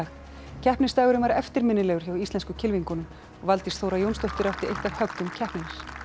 keppnisdagurinn var eftirminnilegur hjá íslensku kylfingunum og Valdís Þóra Jónsdóttir átti eitt af höggum keppninnar